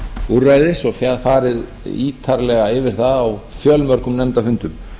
úrræðis og síðan farið ítarlega yfir það á fjölmörgum nefndarfundum